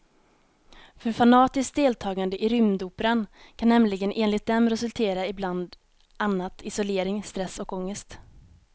För fanatiskt deltagande i rymdoperan kan nämligen enligt dem resultera i bland annat isolering, stress och ångest.